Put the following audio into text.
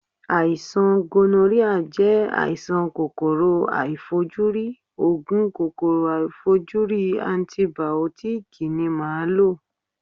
Àìsàn gonoríà jẹ́ àìsàn kòkòrò aàìfojúrí, Ògùn kòkòrò aàìfojúrí antìbìótíkì ni màá lò.